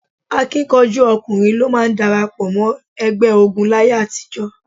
Akíkanjú ọkùnrin ló máa ń darapọ̀ mọ́ ẹgbẹ́ ogun láyé àtijọ́.